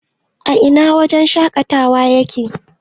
a Ina wajen shaƙatawar yake?